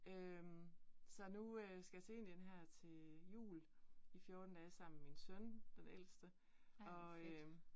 Øh så nu øh skal jeg til Indien her til jul i 14 dage sammen min søn, den ældste og øh